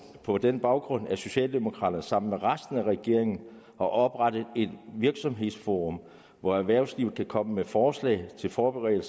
på den baggrund at socialdemokraterne sammen med resten af regeringen har oprettet et virksomhedsforum hvor erhvervslivet kan komme med forslag til forbedringer